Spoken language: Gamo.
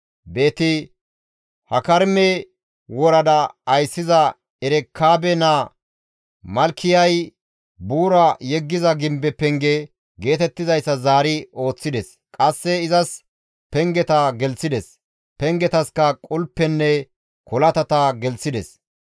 Beeti-Hakarime worada ayssiza Erekaabe naa Malkiyay, «Buura yeggiza gimbe penge» geetettizayssa zaari ooththides; qasse izas pengeta gelththides; pengetaska qulpenne kolatata gelththides.